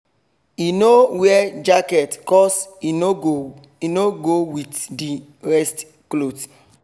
he no wear jacket cos e no go with the rest cloth